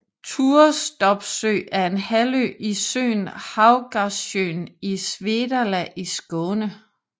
Turestorpsø er en halvø i søen Havgårdssjön i Svedala i Skåne